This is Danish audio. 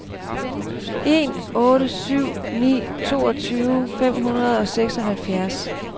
en otte syv ni toogtyve fem hundrede og seksoghalvfjerds